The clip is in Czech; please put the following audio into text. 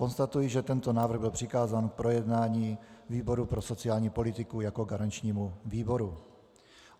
Konstatuji, že tento návrh byl přikázán k projednání výboru pro sociální politiku jako garančnímu výboru.